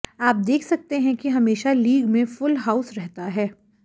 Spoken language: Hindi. आप देख सकते हैं कि हमेशा लीग में फुल हाऊस रहता है